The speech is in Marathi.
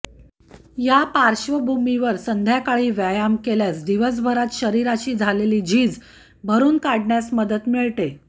या पार्श्वभूमीवर संध्याकाळी व्यायाम केल्यास दिवसभरात शरीराची झालेली झीज भरून काढण्यास मदत मिळते